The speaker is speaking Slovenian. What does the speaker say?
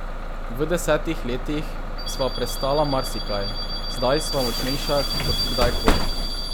V desetih letih sva prestala marsikaj, zdaj sva močnejša kot kdaj koli.